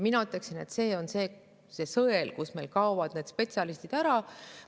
Mina ütleksin, et see on see sõel, kus meil kaovad need spetsialistid ära.